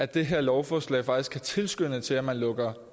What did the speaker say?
det her lovforslag faktisk kan tilskynde til at man lukker